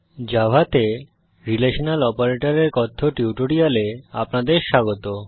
জাভাতে রিলেশনাল অপারেটরের কথ্য টিউটোরিয়ালে আপনাদের স্বাগত